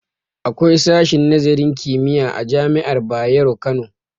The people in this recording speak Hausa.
Akwai sashen nazarin kimiyya a jami'ar bayero Kano